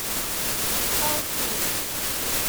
балтийск